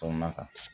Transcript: Kɔnɔna kan